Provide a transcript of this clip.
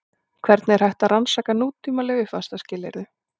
Hvernig er hægt að rannsaka nútímaleg uppvaxtarskilyrði?